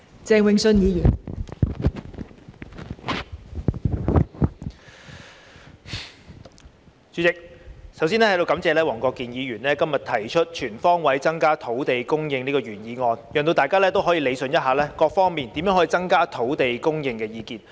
代理主席，我首先在此感謝黃國健議員今天提出"全方位增加土地供應"的原議案，讓大家可以理順各方面就如何能夠增加土地供應提出的意見。